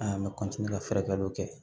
An bɛ ka furakɛliw kɛ